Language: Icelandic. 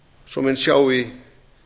svo menn sjái